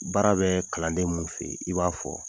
Baara bɛ kalanden mun fɛ ye i b'a fɔ